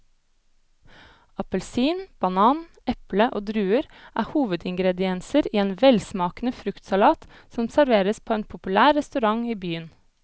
Appelsin, banan, eple og druer er hovedingredienser i en velsmakende fruktsalat som serveres på en populær restaurant i byen.